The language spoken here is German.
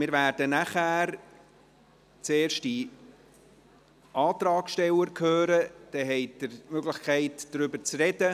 Wir werden nachher zuerst die Antragsteller hören, dann haben Sie die Möglichkeit, darüber zu reden.